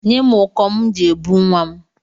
Nye m ụkọ m ji ebu nwa m.